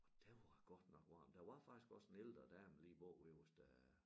Og der var godt nok varmt der var faktisk også en ældre dame lige bagved os der